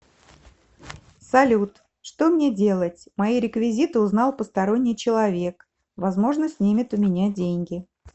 салют что мне делать мои реквизиты узнал посторонний человек возможно снимет у меня деньги